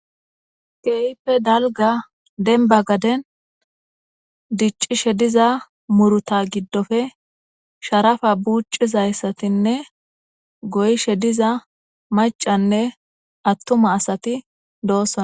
keyipe dalga denba gaden diccishe diza muruta giddofe sharafa buuccizayssatinne goyishe diza macanne attuma asati doossona